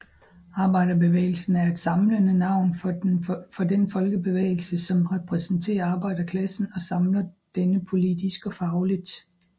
Arbejderbevægelsen er et samlende navn for den folkebevægelse som repræsenterer arbejderklassen og samler denne politisk og fagligt